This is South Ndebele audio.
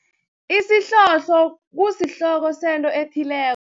Isihlohlo, kusihloko sento ethileko.